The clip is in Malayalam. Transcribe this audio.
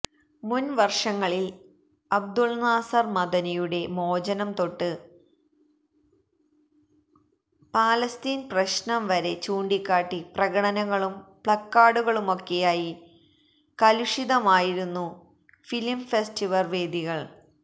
മുൻ വർഷങ്ങളിൽ അബ്ദുൽനാസർ മദനിയുടെ മോചനംതൊട്ട് ഫലസ്തീൻ പ്രശ്നംവരെ ചൂണ്ടിക്കാട്ടി പ്രകടനങ്ങളും പ്ളക്കാർഡുകളുമൊക്കെയായി കലുഷിതമായിരുന്നു ഫിലം ഫെസ്റ്റിവർ വേദികൾ